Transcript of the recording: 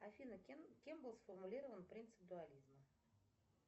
афина кем был сформулирован принцип дуализма